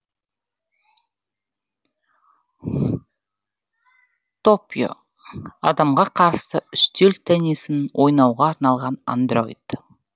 торіо адамға қарсы үстел теннисін ойнауға арналған андроид